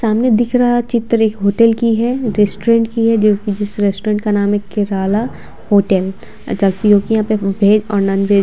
सामने दिख रहा चित्र एक होटल की है रेस्टोरेंट की है जो की जिस रेस्टोरेंट का नाम है किराला होटल जबकि जो की यहाँ पे वेज और नॉन-वेज --